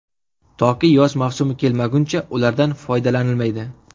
Toki yoz mavsumi kelmaguncha ulardan foydalanilmaydi.